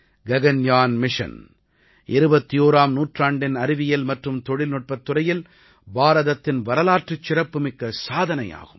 Gaganyaan mission 21ஆம் நூற்றாண்டின் அறிவியல் மற்றும் தொழில்நுட்பத் துறையில் பாரதத்தின் வரலாற்றுச் சிறப்பு மிக்க சாதனையாகும்